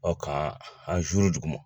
k'an an zuuru duguma